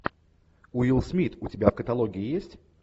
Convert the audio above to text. уилл смит у тебя в каталоге есть